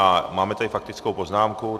A máme tady faktickou poznámku.